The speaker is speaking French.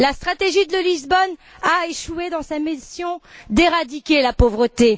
La stratégie de Lisbonne a échoué dans sa mission d'éradiquer la pauvreté.